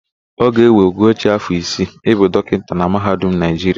Ọ ga-ewe Ugochi afọ isii ịbụ dọkịta na mahadum Naịjiria.